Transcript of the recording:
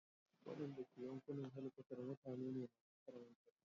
Wadanda ke yankunan helkwatar mutane ne masu karamin karfi.